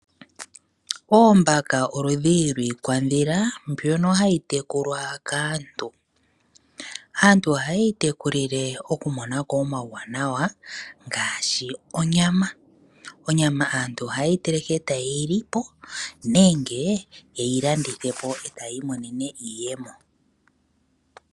Oombaka oludhi lwiikwadhila mbyoka hayi tekulwa kaantu. Aantu ohayeyi tekulile okumonako omauwanawa ngaashi onyama. Onyama aantu ohayeyi teleke ertayeyi lipo nenge yeyi landithe eta ya imonene iiyemo.